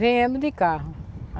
Viemo de carro.